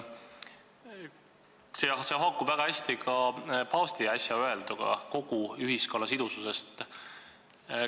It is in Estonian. See haakub väga hästi ka paavsti äsja öelduga kogu ühiskonna sidususe kohta.